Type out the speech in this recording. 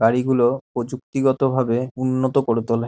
গাড়ি গুলো প্রযুক্তিগত ভাবে উন্নত করে তোলে।